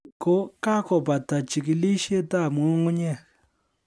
Ni ko kakobata jikilisiet ab nyung'unyek